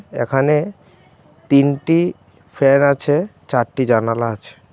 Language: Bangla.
এখানে তিনটি ফ্যান আছে চারটি জানালা আছে।